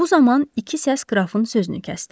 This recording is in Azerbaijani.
Bu zaman iki səs qrafın sözünü kəsdi.